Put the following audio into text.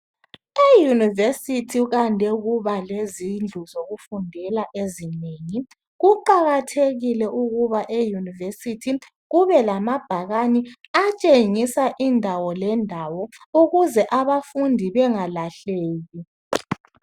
Eyunivesithi kwande ukuba lezindlu zokufundela ezinengi . Kuqakathekile ukuba eyunivesithi kube lamabhakane atshengisa indawo lendawo ukuze abafundi bangalahleki.